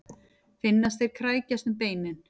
Finnast þeir krækjast um beinin.